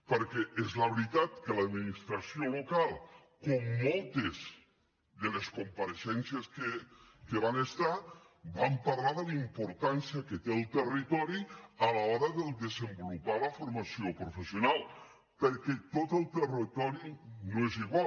perquè és la veritat que l’administració local com moltes de les compareixences que hi va haver va parlar de la importància que té el territori a l’hora de desenvolupar la formació professional perquè tot el territori no és igual